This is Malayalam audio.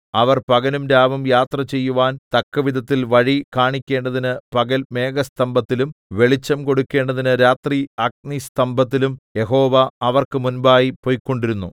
അവർ പകലും രാവും യാത്ര ചെയ്യുവാൻ തക്കവിധത്തിൽ വഴി കാണിക്കേണ്ടതിന് പകൽ മേഘസ്തംഭത്തിലും വെളിച്ചം കൊടുക്കണ്ടതിന് രാത്രി അഗ്നിസ്തംഭത്തിലും യഹോവ അവർക്ക് മുമ്പായി പൊയ്ക്കൊണ്ടിരുന്നു